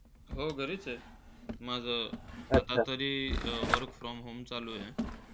हो, घरीच आहे. माझं सध्यातरी work from home चालू आहे.